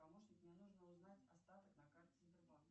помощник мне нужно узнать остаток на карте сбербанка